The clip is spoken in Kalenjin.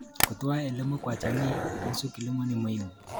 Kutoa elimu kwa jamii kuhusu kilimo ni muhimu.